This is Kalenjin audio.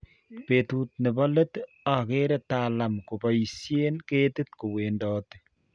betut nebo let ageere Talam ko kiboisien ketik kowendoti